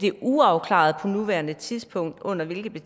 er uafklaret på nuværende tidspunkt under hvilke